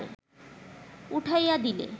উঠাইয়া দিলে